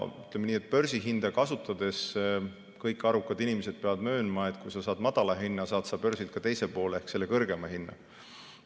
Ütleme nii, et börsihinda kasutades peavad kõik arukad inimesed möönma, et kui sa saad madala hinna, saad sa börsilt ka teise poole ehk selle kõrgema hinna.